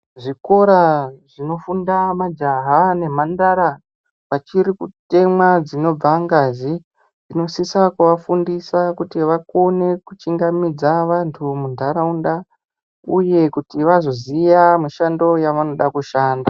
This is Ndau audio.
Zvikora zvinofunda majaha nemhandara vachiri kutemwa dzinobva ngazi, tinosisa kuvafundisa kuti vakone kuchingamidza vantu muntaraunda uye kuti vazoziya mishando yavanoda kushanda.